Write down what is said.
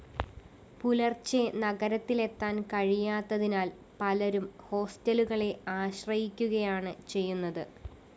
പുലര്‍ച്ചെ നഗരത്തിലെത്താന്‍ കഴിയാത്തതിനാല്‍ പലരും ഹോസ്റ്റലുകളെ ആശ്രയിക്കുകയാണ് ചെയ്യുന്നത്